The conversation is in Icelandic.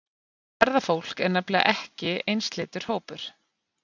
Ferðafólk er nefnilega ekki einsleitur hópur.